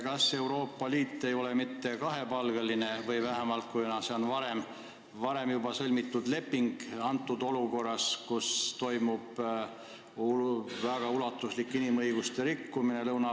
Kas Euroopa Liit ei ole mitte kahepalgeline olukorras, kus Lõuna-Aafrika Vabariigis toimuvad väga ulatuslikud inimõiguste rikkumised?